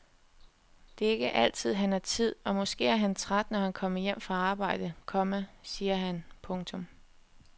Det er ikke altid han har tid og måske er han træt når han kommer hjem fra arbejde, komma siger han. punktum